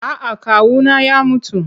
A'a kawuna ya mutu.